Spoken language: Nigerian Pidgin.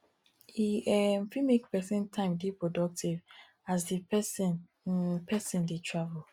e um fit make person time dey productive as di person um person um dey travel